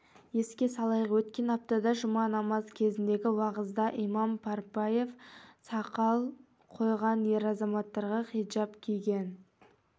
еске салайық өткен аптада жұма намаз кезіндегі уағызда имам парпиев сағал қойған ер азаматтарға хиджаб киген